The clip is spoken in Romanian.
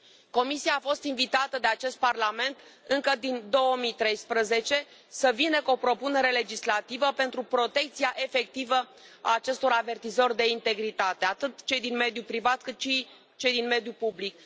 Comisia a fost invitată de acest parlament încă din 2013 să vină cu o propunere legislativă pentru protecția efectivă a acestor avertizori de integritate, atât cei din mediul privat, cât și cei din mediul public.